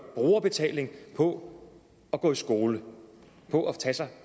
brugerbetaling på at gå i skole på at tage sig